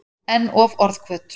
En of orðhvöt.